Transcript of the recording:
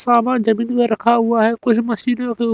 सामान जमीन में रखा हुआ है कोई मशीनें के ऊ--